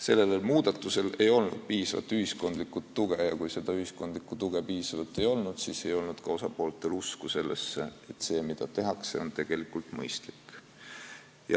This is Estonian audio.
" Sellel muudatusel ei olnud piisavat ühiskondlikku tuge ja kui seda tuge piisavalt ei olnud, siis ei olnud osapooltel ka usku sellesse, et see, mida tehakse, on tegelikult mõistlik.